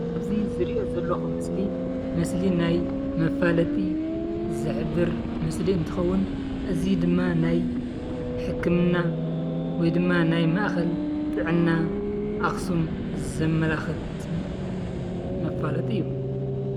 እዚ ዝሪኦ ዘለኹ ምስሊ ምስሊ ናይ መፋለጢ ዝሕብር ምስሊ እንትኸውን እዚ ድማ ናይ ሕክምና ወይ ድማ ናይ ማእኸል ጥዕና ኣኽሱም ዘመላኽት መፋለጢ እዩ፡፡